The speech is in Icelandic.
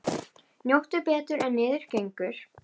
Njóttu betur en niður gengur.